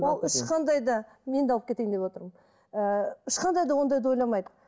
ол ешқандай да мен де алып кетейін деп отырмын ыыы ешқандай да ондайды ойламайды